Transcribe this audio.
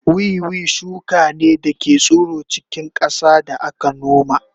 Wiwi shuka ne da ke tsiro a cikin ƙasa da aka noma